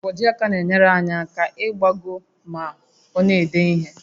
Nkwojiaka na-enyere aka aka ịgbagọ ma ọ na-ede ihe